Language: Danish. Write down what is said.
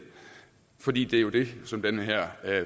for det er jo det som den her